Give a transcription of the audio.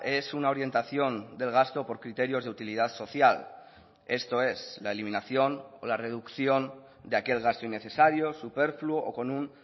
es una orientación del gasto por criterios de utilidad social esto es la eliminación o la reducción de aquel gasto innecesario superfluo o con un